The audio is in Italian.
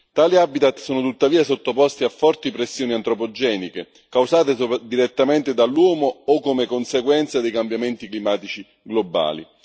Tali habitat sono tuttavia sottoposti a forti pressioni antropogeniche, causate direttamente dall'uomo o come conseguenza dei cambiamenti climatici globali.